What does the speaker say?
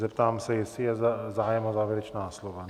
Zeptám se, jestli je zájem o závěrečná slova?